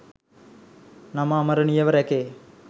නම අමරණීයව රැකේ.